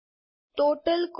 total cost